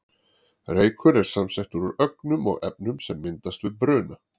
Reykur er samsettur úr ögnum og efnum sem myndast við bruna.